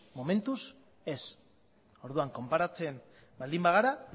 momentuz ez orduan konparatzen baldin bagara